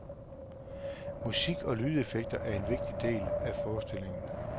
Musik og lydeffekter er en vigtig del af forestillingen.